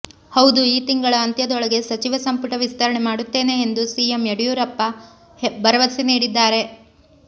ಹೌದು ಈ ತಿಂಗಳ ಅಂತ್ಯದೊಳಗೆ ಸಚಿವ ಸಂಪುಟ ವಿಸ್ತರಣೆ ಮಾಡುತ್ತೇನೆ ಎಂದು ಸಿಎಂ ಬಿಎಸ್ ಯಡಿಯೂರಪ್ಪ ಭರವಸೆ ನೀಡಿದ್ದಾರೆ